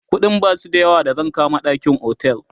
ƙuɗin Basu da yawa da zan kama ɗakin otel